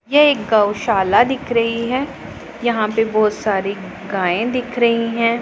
ये एक गौशाला दिख रही हैं यहाँ पे बहोत सारी गाये दिख रही हैं।